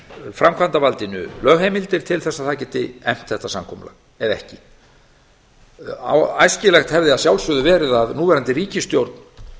framkvæmdarvaldinu lögheimildir til þess að það geti efnt þetta samkomulag eða ekki æskilegt hefði verið að sjálfsögðu að núverandi ríkisstjórn